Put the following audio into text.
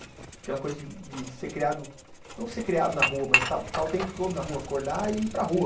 Aquela coisa de de ser criado, não ser criado na rua, mas estar o tempo todo na rua, acordar e ir para a rua.